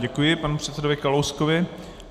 Děkuji panu předsedovi Kalouskovi.